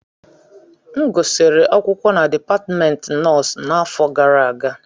M gụsịrị akwụkwọ na Dipatmentị Nọọsụ n'afọ gara aga